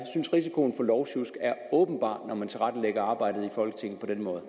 risikoen for lovsjusk er åbenbar når man tilrettelægger arbejdet i folketinget på denne måde